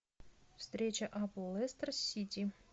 встреча апл лестер сити